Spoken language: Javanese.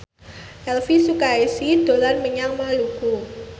Elvy Sukaesih dolan menyang Bengkulu